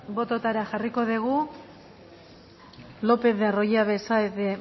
botoetara jarriko dugu lopez de arroyabe saez de